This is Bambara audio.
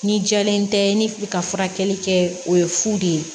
Ni jɛlen tɛ ni ka furakɛli kɛ o ye fu de ye